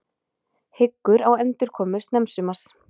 Hyggur á endurkomu snemmsumars